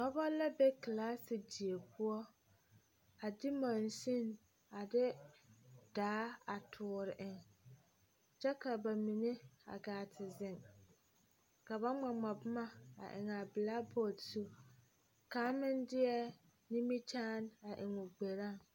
Dɔbɔ bata la ka bayi are ka kaŋa zeŋ kaŋa seɛɛ kuritampɛloŋ ka kaŋa zeŋ a zɛgoo nu a taa bɔɔl.